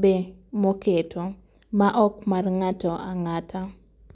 be moketo ma ok mar ng'ato ang'ata.